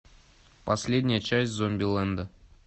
последняя часть зомбилэнда